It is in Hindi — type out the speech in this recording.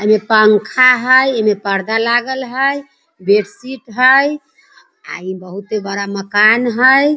इमें में पंखा हई इमें पर्दा लागल हई बेडशीट हई आ ई बहुते बड़ा मकान हई |